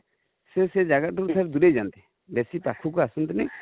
ସେ ଜାଗା ଟା ରୁ ଦୁରେଇ ଯାନ୍ତି, ବେଶୀ ପାଖକୁ ଆସନ୍ତିନି